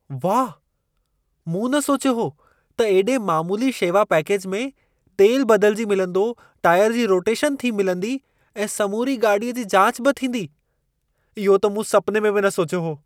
वाह! मूं न सोचियो हो त एॾे मामूली शेवा पैकेज में, तेल बदिलिजी मिलंदो, टायर जी रोटेशन थी मिलंदी ऐं समूरी गाॾीअ जी जाच बि थींदी। इहो त मूं सपिने में बि न सोचियो हो।